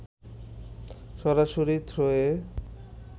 সরাসরি থ্রোয়ে